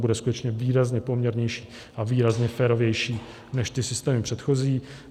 Bude skutečně výrazně poměrnější a výrazně férovější než ty systémy předchozí.